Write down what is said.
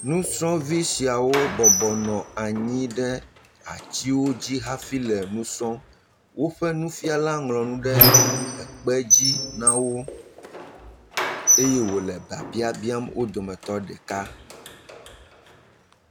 Nusrɔ̃vi siawo bɔbɔ nɔ atiwo dzi hafi le nu srɔ̃m. Woƒe nufial ŋlɔ nu ɖe ekpe dzi na eye wòle biabia bim wo dometɔ ɖeka.